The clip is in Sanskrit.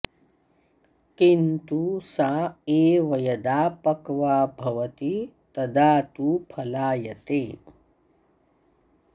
किन्तु सा एव यदा पक्वा भवति तदा तु फलायते